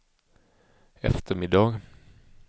eftermiddag